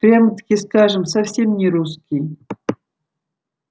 прямо-таки скажем совсем не русский